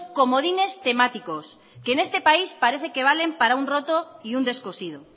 comodines temáticos que en este país parece que valen para un rato y un descosido